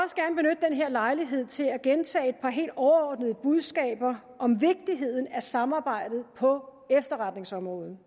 lejlighed til at gentage et par helt overordnede budskaber om vigtigheden af samarbejdet på efterretningsområdet